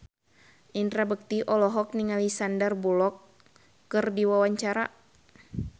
Indra Bekti olohok ningali Sandar Bullock keur diwawancara